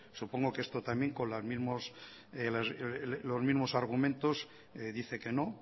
supongo que esto también con los mismos argumentos dice que no